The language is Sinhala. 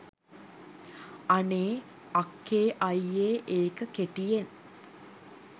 අනේ "අක්කේ අයියේ" ඒක කෙටියෙන්